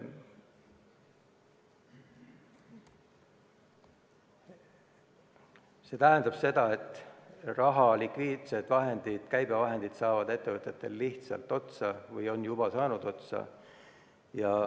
See tähendab seda, et raha, likviidsed vahendid, käibevahendid, saavad ettevõtetel lihtsalt otsa või on juba otsa saanud.